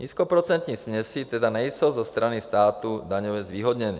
Nízkoprocentní směsi tedy nejsou ze strany státu daňově zvýhodněny.